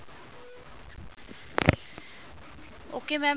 okay mam